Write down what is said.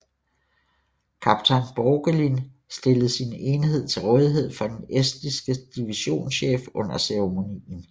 Kaptajn Borgelin stillede sin enhed til rådighed for den estiske divisionschef under ceremonien